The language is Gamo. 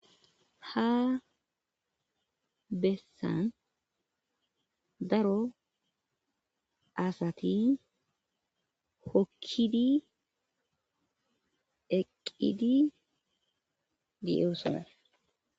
ha bessan daro asati hokkidi eqqidi di7eu sona